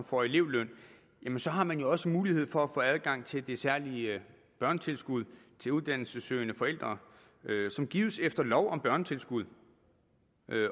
får elevløn jamen så har man jo også mulighed for at få adgang til det særlige børnetilskud til uddannelsessøgende forældre som gives efter lov om børnetilskud